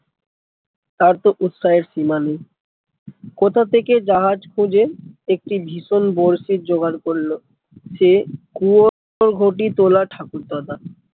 তার তো উৎসাহের সীমা নেই কোথা থেকে জাহাজ খুঁজে একটি ভীষণ বড়শির জোগাড় করলো সে কুও ঘটি তোলা ঠাকুর দাদা